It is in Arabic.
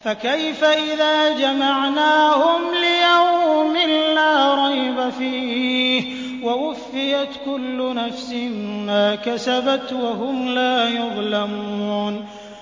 فَكَيْفَ إِذَا جَمَعْنَاهُمْ لِيَوْمٍ لَّا رَيْبَ فِيهِ وَوُفِّيَتْ كُلُّ نَفْسٍ مَّا كَسَبَتْ وَهُمْ لَا يُظْلَمُونَ